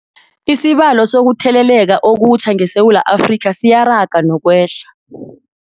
Isibalo sokuthele leka okutjha ngeSewula Afrika siyaraga nokwehla.